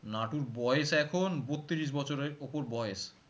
নাটুর বয়স এখন বত্রিশ বছরের ওপর বয়েস